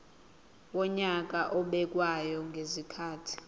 wonyaka obekwayo ngezikhathi